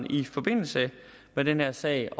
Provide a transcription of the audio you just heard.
i forbindelse med den her sag